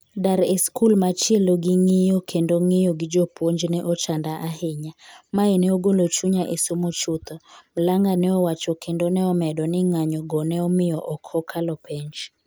dar e skul machielo gi ng'iyo kendo ng'iyo gi puonj ne ochanda ahinya .mae ne ogolo chunya e somo chutho'', Mlang'a ne owacho kendo ne omedo ni ng'anyo go ne omiyo ok okalo penj